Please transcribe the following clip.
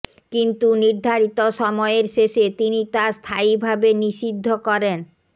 কিন্তু নির্ধারিত সময়ের শেষে তিনি তা স্থায়ীভাবে নিষিদ্ধ করেনঃ